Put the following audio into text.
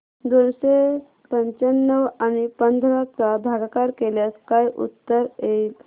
दोनशे पंच्याण्णव आणि पंधरा चा भागाकार केल्यास काय उत्तर येईल